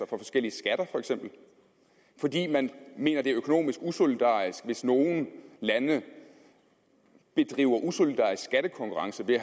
forskellige skatter fordi man mener det er økonomisk usolidarisk hvis nogle lande bedriver usolidarisk skattekonkurrence ved